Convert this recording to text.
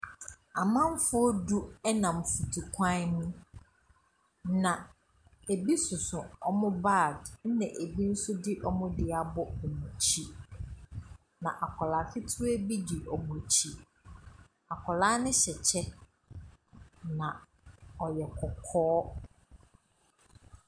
Amanfoɔ du Ɛnam nfutu kwan ho na ɛbi soso wɔn baage na ɛbi nso de wɔn deɛ abɔ wɔn akyi. Na akwadaa ketewa bi di wɔn akyi. Akwadaa no hyɛ ɛkyɛ na ɔyɛ kɔkɔɔ.